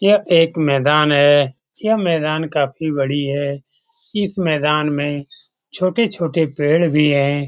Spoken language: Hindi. यह एक मैदान है। यह मैदान काफी बड़ी है। इस मैदान में छोटे-छोटे पेड़ भी हैं।